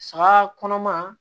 Saga kɔnɔma